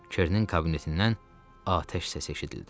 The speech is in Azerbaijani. Kerənin kabinetindən atəş səsi eşidildi.